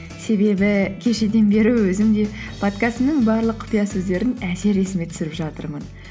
себебі кешеден бері өзім де подкастымның барлық құпия сөздерін әзер есіме түсіріп жатырмын